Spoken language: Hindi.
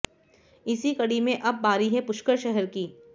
इसी कड़ी में अब बारी है पुष्कर शहर की